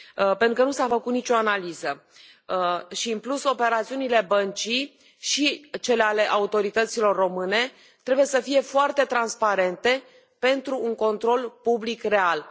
Pentru că încă nu s a făcut nicio analiză și, în plus, operațiunile Băncii și cele ale autorităților române trebuie să fie foarte transparente pentru un control public real.